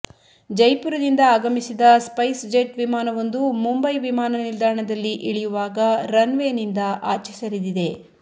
ಜೈಪುರದಿಂದ ಆಗಮಿಸಿದ SpiceJet ವಿಮಾನವೊಂದು ಮುಂಬೈ ವಿಮಾನ ನಿಲ್ದಾಣದಲ್ಲಿ ಇಳಿಯುವಾಗ ರನ್ವೇನಿಂದ ಆಚೆ ಸರಿದಿದೆ